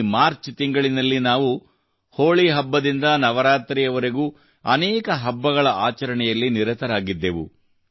ಈ ಮಾರ್ಚ್ ತಿಂಗಳಿನಲ್ಲಿ ನಾವು ಹೋಳಿ ಹಬ್ಬದಿಂದ ನವರಾತ್ರಿಯವರೆಗೂ ಅನೇಕ ಹಬ್ಬಗಳ ಆಚರಣೆಯಲ್ಲಿ ನಿರತರಾಗಿದ್ದೆವು